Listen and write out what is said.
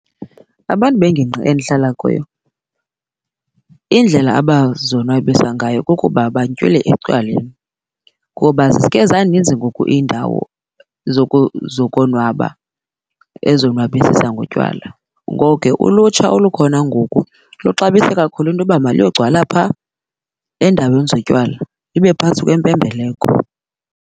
Abantu bengingqi endihlala kuyo indlela abazonwabisa ngayo kukuba bantywile etywaleni ngoba ziske zaninzi ngoku iindawo zokonwaba ezonwabisisa ngotywala. Ngoko ke ulutsha olukhona ngoku luxabisa kakhulu into yoba maluyogcwala phaa endaweni zotywala lube phantsi kwempembeleko.